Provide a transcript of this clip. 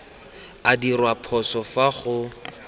a dirwa phoso fa go